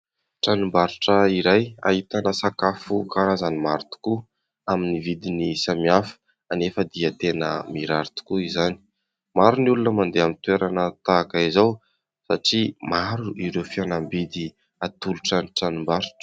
Tranom-barotra iray ahitana sakafo karazany maro tokoa amin'ny vidiny samihafa anefa dia tena mirary tokoa izany, maro ny olona mandeha amin'ny toerana tahaka izao satria maro ireo fihenam-bidy atolotra ny tranom-barotra.